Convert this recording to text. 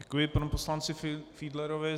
Děkuji panu poslanci Fiedlerovi.